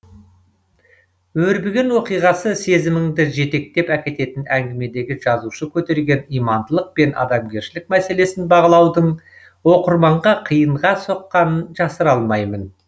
өрбіген оқиғасы сезіміңді жетектеп әкететін әңгімедегі жазушы көтерген имандылық пен адамгершілік мәселесін бағалаудың оқырманға қиынға соққанын жасыра алмаймын